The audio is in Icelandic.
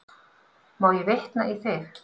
Má ég vitna í þig?